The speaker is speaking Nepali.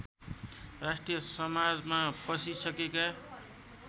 राष्ट्रिय समाजमा पसिसकेका